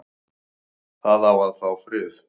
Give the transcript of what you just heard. Það á að fá frið